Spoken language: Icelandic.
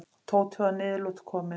Tóti var að niðurlotum kominn.